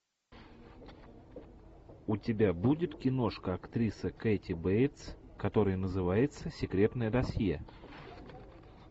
у тебя будет киношка актрисы кэти бейтс которое называется секретное досье